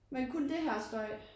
Men kun det her støj